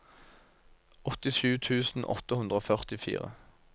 åttisju tusen åtte hundre og førtifire